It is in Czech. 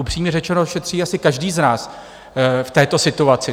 Upřímně řečeno, šetří asi každý z nás v této situaci.